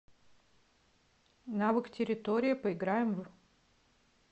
навык территория поиграем в